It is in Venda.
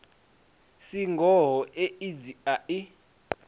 si ngoho aids a i